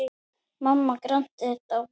Mamma Grand er dáin.